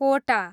कोटा